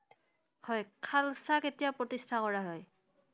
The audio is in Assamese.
হয়, খালছা কেতিয়া প্ৰতিষ্ঠা কৰা হয়?